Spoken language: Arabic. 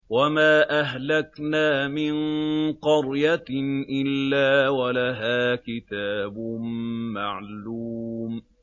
وَمَا أَهْلَكْنَا مِن قَرْيَةٍ إِلَّا وَلَهَا كِتَابٌ مَّعْلُومٌ